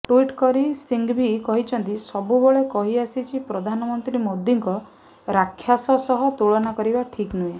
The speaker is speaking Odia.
ଟୁଇଟ୍ କରି ସିଙ୍ଗଭି କହିଛନ୍ତି ସବୁବେଳେ କହିଆସିଛି ପ୍ରଧାନମନ୍ତ୍ରୀ ମୋଦିଙ୍କ ରାକ୍ଷସ ସହ ତୁଳନା କରିବା ଠିକ ନୁହଁ